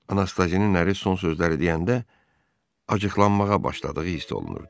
Anastazinin əri son sözləri deyəndə acıqlanmağa başladığı hiss olunurdu.